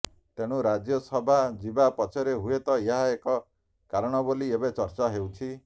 ତେଣୁ ରାଜ୍ୟ ସଭା ଯିବା ପଛରେ ହୁଏତ ଏହା ଏକ କାରଣ ବୋଲି ଏବେ ଚର୍ଚ୍ଚା ହେଉଛି